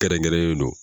Kɛrɛnkɛrɛnnen don